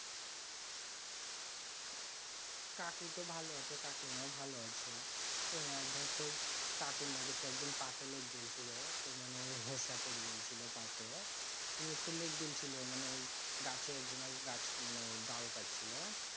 কাকু তো ভালো আছে কাকিমা ও ভালো আছে অইয়া ধর সেই কাকুর নাকি সে একদিন পাতে লেগেগেছিলো তো মানে ওই হোসা পরে গেলছিলো পাতে নিয়ে একটু লেগেছিল মানে ওই গাছে একজনা গাছ মানে ডাল কাটছিল